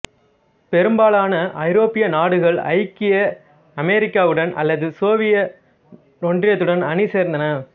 பெரும்பாலான ஐரோப்பிய நாடுகள் ஐக்கிய அமெரிக்காவுடன் அல்லது சோவியத் ஒன்றியத்துடன் அணிசேர்ந்தன